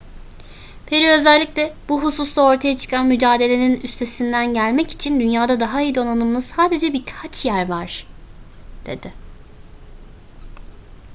perry özellikle bu hususta ortaya çıkan mücadelenin üstesinden gelmek için dünyada daha iyi donanımlı sadece birkaç yer var dedi